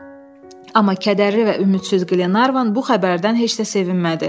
Amma kədərli və ümidsiz Glenarvan bu xəbərdən heç də sevinmədi.